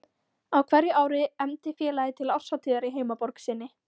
Á hverju ári efndi félagið til árshátíðar í heimaborg sinni